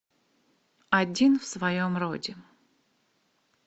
один в своем роде